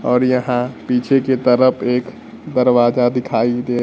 और यहां पीछे की तरफ एक दरवाजा दिखाई दे--